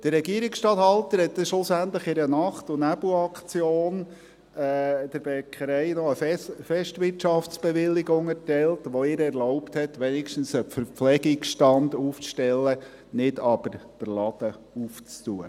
Der Regierungstatthalter hat schlussendlich in einer Nacht- und Nebelaktion der Bäckerei noch eine Festwirtschaftsbewilligung erteilt, welche ihr erlaubte, wenigstens einen Verpflegungsstand aufzustellen, nicht aber den Laden zu öffnen.